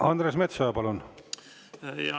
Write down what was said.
Andres Metsoja, palun!